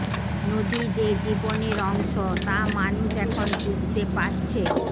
নদী যে জীবনের অংশ তা মানুষ এখন বুঝতে পারছে